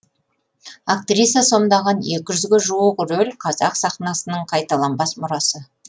актриса сомдаған екі жүзге жуық рөл қазақ сахнасының қайталанбас мұрасы